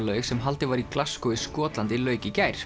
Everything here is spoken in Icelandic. laug sem haldið var í Glasgow í Skotlandi lauk í gær